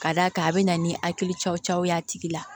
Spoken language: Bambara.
Ka d'a kan a bɛ na ni hakili cɔcɔ ye a tigi la